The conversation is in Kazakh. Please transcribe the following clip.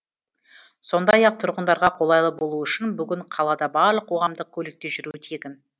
сондай ақ тұрғындарға қолайлы болуы үшін бүгін қалада барлық қоғамдық көлікте жүру тегін